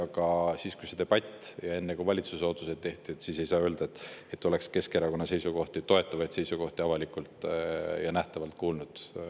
Aga siis, kui see debatt oli, ja enne kui valitsuses otsuseid tehti, ei saanud öelda, et oleks Keskerakonna toetavaid seisukohti avalikult kuulda olnud.